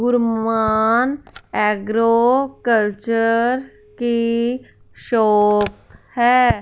Guru Mann agro culture की shop है।